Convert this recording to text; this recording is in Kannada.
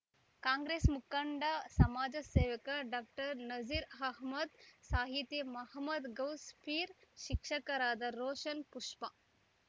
ಕಾಂಗ್ರೆಸ್‌ ಮುಖಂಡ ಸಮಾಜ ಸೇವಕ ಡಾಕ್ಟರ್ ನಸೀರ್‌ ಅಹಮ್ಮದ್‌ ಸಾಹಿತಿ ಮಹಮ್ಮದ್‌ ಗೌಸ್‌ ಪೀರ್‌ ಶಿಕ್ಷಕರಾದ ರೋಷನ್‌ ಪುಷ್ಪಾ